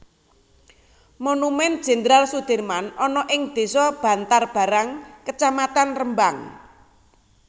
Monumen Jenderal Soedirman ana ing desa Bantarbarang kecamatan Rembang